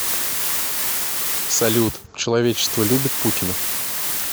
салют человечество любит путина